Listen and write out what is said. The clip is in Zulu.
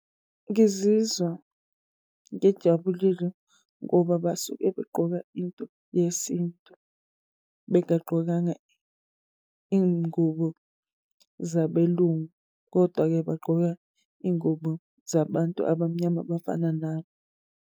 Ngizizwa ngijabulile ngoba basuke begqoka into yesintu bengagqokanga iy'ngubo zabelungu, kodwa-ke bagqoka iy'ngubo zabantu abamnyama abafana .